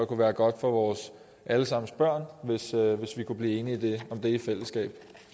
kunne være godt for vores alle sammens børn hvis vi kunne blive enige om det i fællesskab